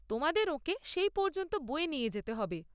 তোমাদের ওঁকে সেই পর্যন্ত বয়ে নিয়ে যেতে হবে।